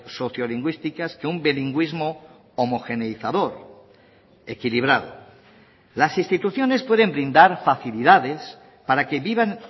sociolingüísticas que un bilingüismo homogeneizador equilibrado las instituciones pueden brindar facilidades para que vivan